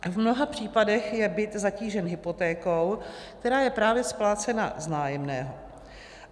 V mnoha případech je byt zatížen hypotékou, která je právě splácena z nájemného.